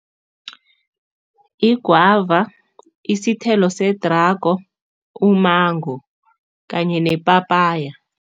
Igwava, isithelo sedrago, umango kanye nepapaya.